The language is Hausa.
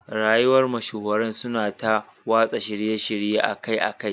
Rayuwar mashahuran suna ta watsa shirye-shirye akai-akai